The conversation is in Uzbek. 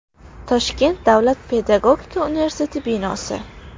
Toshkent davlat pedagogika universiteti binosi.